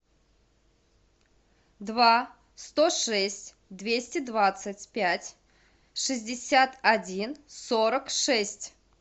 два сто шесть двести двадцать пять шестьдесят один сорок шесть